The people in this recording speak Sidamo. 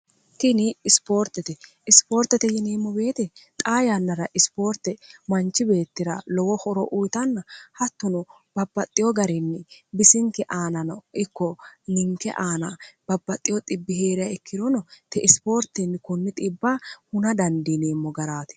tini ispoortete ispoortete yiniimmo beeti xa yannara ispoorte manchi beettira lowo horo uyitanna hattuno babaxxiyo garinni bisinke aanano ikko ninke aana babbaxxo hee're ikkirono te isipoortinni kunni xibb huna dandiiniimmo garaati